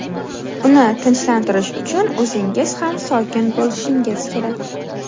Uni tinchlantirish uchun o‘zingiz ham sokin bo‘lishingiz kerak.